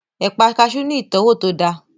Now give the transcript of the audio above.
Ẹ̀pà kaasú ní ìtọ́wò tó dáa